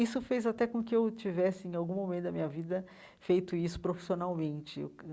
Isso fez até com que eu tivesse, em algum momento da minha vida, feito isso profissionalmente.